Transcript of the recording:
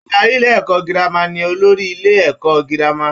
Adarí ilé-ẹ̀kọ́ girama ni olórí Ilé - ẹ̀kọ́ gírámà.